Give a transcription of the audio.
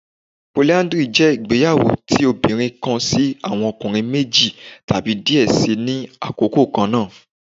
Polyandry jẹ igbeyawo ti obinrin kan si awọn ọkunrin meji tabi diẹ sii ni akoko kanna